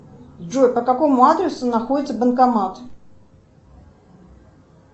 джой по какому адресу находится банкомат